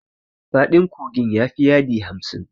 Faɗin kogin ya fi yadi hamsin.